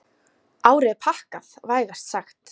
Árið er pakkað, vægast sagt.